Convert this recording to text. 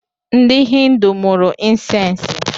Ndị hindu mụrụ insensi